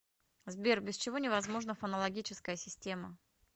сбер без чего невозможна фонологическая система